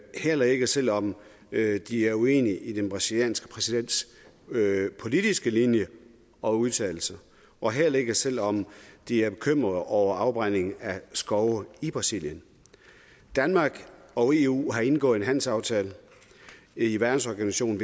heller ikke selv om de er uenige i den brasilianske præsidents politiske linje og udtalelser og heller ikke selv om de er bekymrede over afbrænding af skove i brasilien danmark og eu har indgået en handelsaftale i verdensorganisationen